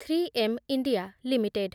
three M India limited